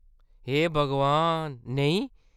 हे भगवान, नेईं !